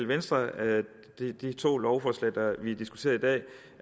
venstre at de to lovforslag vi diskuterer i dag